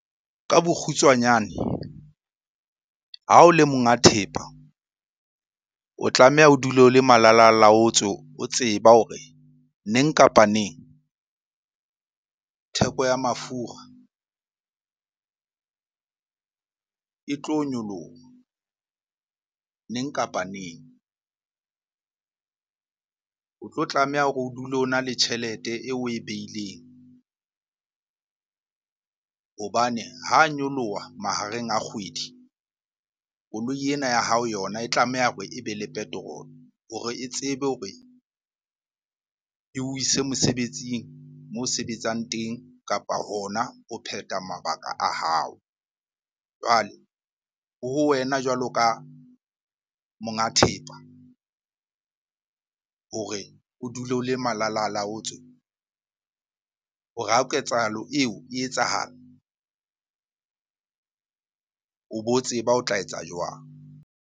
Ka bokgutswanyane, ha o le monga thepa o tlameha o dule o le malalalaotswe, o tseba hore neng kapa neng theko ya mafura e tlo nyoloha neng kapa neng. O tlo tlameha hore o dule o na le tjhelete eo oe beileng hobane ho nyoloha mahareng a kgwedi, koloi ena ya hao yona e tlameha hore ebe le petrol-e hore e tsebe hore eo ise mosebetsing moo sebetsang teng kapa hona ho phetha mabaka a hao. Jwale ho ho wena jwalo ka monga thepa hore o dule o le malalalaotswe hore ha ketsahalo eo e etsahala, o bo tseba o tla etsa jwang?